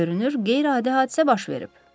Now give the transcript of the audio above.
Görünür qeyri-adi hadisə baş verib.